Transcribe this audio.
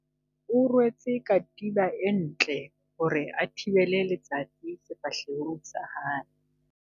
O rwetse katiba e ntle hore a thibele letsatsi sefahlehong sa hae.